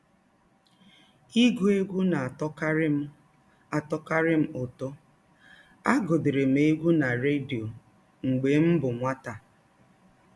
Ịgụ egwụ na - atọkarị m - atọkarị m ụtọ, agụdịrị m egwụ na rediọ mgbe m bụ nwata.